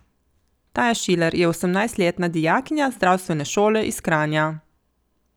Taja Šilar je osemnajstletna dijakinja zdravstvene šole iz Kranja.